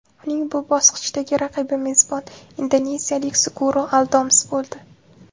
Uning bu bosqichdagi raqibi mezbon, indoneziyalik Suguro Aldoms bo‘ldi.